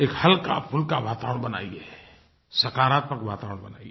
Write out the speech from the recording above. एक हल्काफुल्का वातावरण बनाइए सकारात्मक वातावरण बनाइए